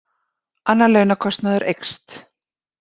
Annar launakostnaður eykst